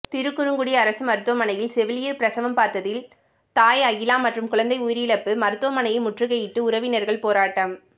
திருக்குறுங்குடி அரசு மருத்துவமனையில் செவிலியர் பிரசவம் பார்த்ததில் தாய் அகிலா மற்றும் குழந்தை உயிரிழப்பு மருத்துவமனையை முற்றுகையிட்டு உறவினர்கள் போராட்டம்